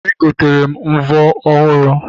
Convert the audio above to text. Egotere m mvọ ọhụrụ